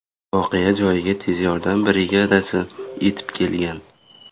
Voqea joyiga tez yordam brigadasi yetib kelgan.